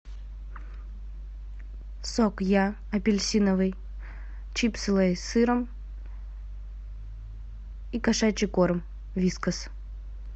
сок я апельсиновый чипсы лейс с сыром и кошачий корм вискас